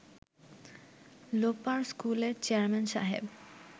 লোপার স্কুলের চেয়ারম্যান সাহেব